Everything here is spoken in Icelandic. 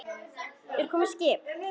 Er komið skip?